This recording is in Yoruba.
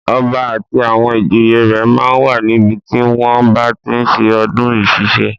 Ọba àti àwọn ìjòyè rẹ̀ máa ń wà níbi tí wọ́n bá tí ń ṣe ọdún ìsẹ̀ṣe.